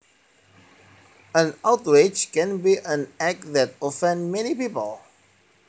An outrage can be an act that offends many people